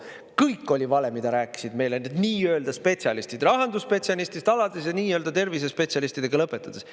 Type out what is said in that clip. Kõik oli vale, mida rääkisid meile need nii-öelda spetsialistid, rahandusspetsialistist alates ja nii-öelda tervisespetsialistidega lõpetades.